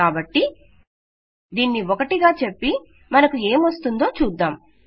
కాబట్టి దీనిని 1 గా చెప్పి మనకు ఏమొస్తుందో చూద్దాం